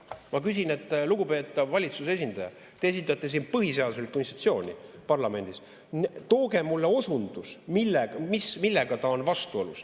Ma küsin, et, lugupeetav valitsuse esindaja, te esindate siin põhiseaduslikku institutsiooni parlamendis, tooge mulle osundus, millega ta on vastuolus.